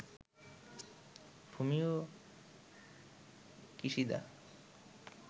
Fumio Kishida